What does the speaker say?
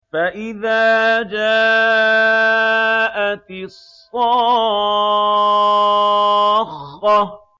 فَإِذَا جَاءَتِ الصَّاخَّةُ